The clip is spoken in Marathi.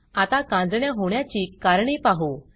आता कांजिण्या होण्याची कारणे पाहू